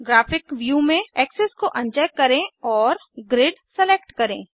graphic view में access को uncheck करें और ग्रिड सेलेक्ट करें